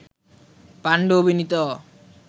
পান্ডু অভিনীত